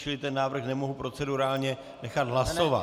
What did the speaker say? Čili ten návrh nemůžu procedurálně nechat hlasovat.